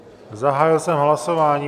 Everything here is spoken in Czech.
Zahájil jsem hlasování.